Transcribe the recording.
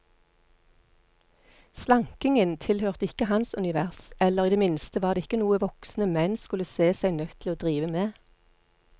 Slankingen tilhørte ikke hans univers, eller i det minste var det ikke noe voksne menn skulle se seg nødt til å drive med.